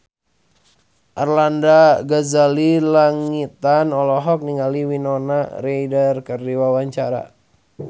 Arlanda Ghazali Langitan olohok ningali Winona Ryder keur diwawancara